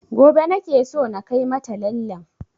Gobe nake so na kai mata lallen